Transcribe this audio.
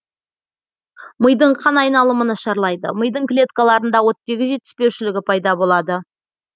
мидың қан айналымы нашарлайды мидың клеткаларында оттегі жетіспеушілігі пайда болады